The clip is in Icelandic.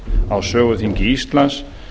á söguþingi íslands